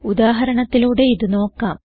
ഉദാഹരണത്തിലൂടെ ഇത് നോക്കാം